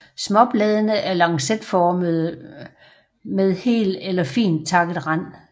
Småbladene er lancetformede med hel eller fint takket rand